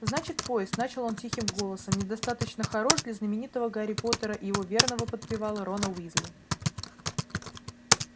значит поезд начал он тихим голосом недостаточно хорош для знаменитого гарри поттера и его верного подпевалы рона уизли